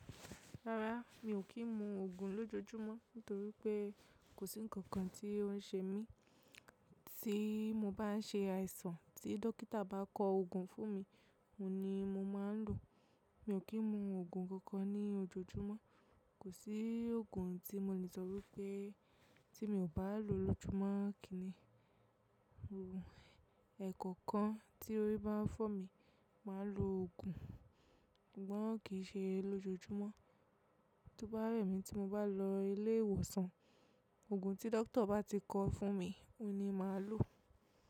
Rárá, mi ò kí ń mu Ògùn lójojúmọ́ nítorí pé kò sí nǹkan kan tí ó ń ṣe mí. Tí mo bá ṣe àìsàn tí dókítà bá kọ Ògùn fún mi, òun ni mo máa ń lò. Mi ò kí ń mu Ògùn kankan ní ojoojúmọ́. Kò sí Ògùn tí mo lè sọ pé tí mi ò bá lò lójojúmọ́ kí ni. Ògùn ẹ̀kọ̀kan tí óri bá fọ́ mi, màá lo ògùn, ṣùgbọ́n ki ṣe lójojúmọ́. Tí ó bá rẹ̀ mí tí mo bá lọ ilé ìwòsàn, ògùn tí dókítà bá ti kọ fún mi, òun ni màá lò.